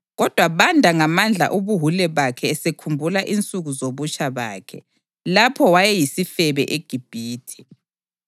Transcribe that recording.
Kodwa banda ngamandla ubuwule bakhe esekhumbula insuku zobutsha bakhe, lapho wayeyisifebe eGibhithe.